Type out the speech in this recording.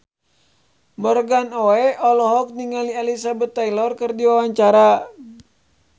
Morgan Oey olohok ningali Elizabeth Taylor keur diwawancara